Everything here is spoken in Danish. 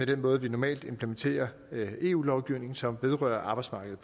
den måde vi normalt implementerer eu lovgivning på som vedrører arbejdsmarkedet